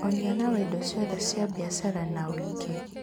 Ũigana wa indo ciothe cia biacara na ũingĩ: